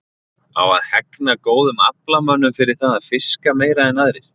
Á að hegna góðum aflamönnum fyrir það að fiska meira en aðrir?